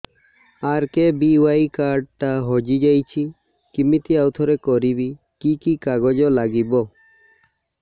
RKBY card ଟା ହଜିଯାଇଛି କିମିତି ଆଉଥରେ କରିବି କି କି କାଗଜ ଲାଗିବ